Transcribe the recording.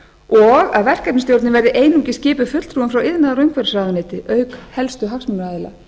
og að verkefnisstjórnin verði einungis skipuð fulltrúum frá iðnaðar og umhverfisráðuneyti auk helstu hagsmunaaðila